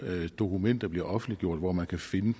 dokumenter bliver offentliggjort og hvor man kan finde